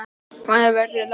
Hvenær verður lagt upp?